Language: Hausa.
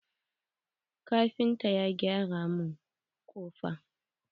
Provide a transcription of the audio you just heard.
Kafintan ya gyara mun kofa.